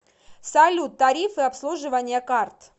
салют тарифы обслуживания карт